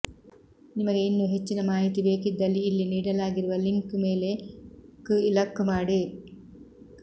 ನಿಮಗೆ ಇನ್ನೂ ಹೆಚ್ಚಿನ ಮಾಹಿತಿ ಬೇಕಿದ್ದಲ್ಲಿ ಇಲ್ಲಿ ನೀಡಲಾಗಿರುವ ಲಿಂಕ್ ಮೇಲೆ ಕ್ಇಲಕ್ ಮಾಡಿ